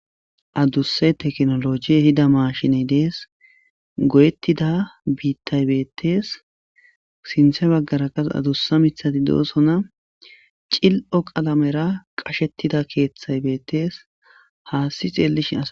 Aduse tekinolojey ehida mashiney Des. Goyetida bitay detes. Sintha bagara qas adusa mithat dosona. Cili'o qalamera qachetida kethat dosona, adusa xelishn ....